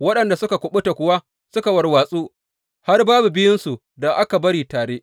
Waɗanda suka kuɓuce kuwa suka warwatsu, har babu biyunsu da aka bari tare.